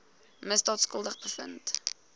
misdaad skuldig bevind